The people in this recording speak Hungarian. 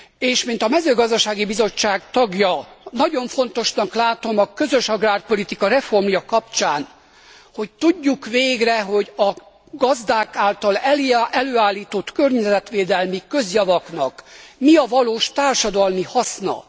És mint a mezőgazdasági bizottság tagja, nagyon fontosnak látom a közös agrárpolitika reformja kapcsán, hogy tudjuk végre, hogy a gazdák által előállított környezetvédelmi közjavaknak mi a valós társadalmi haszna.